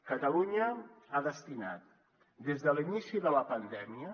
catalunya ha destinat des de l’inici de la pandèmia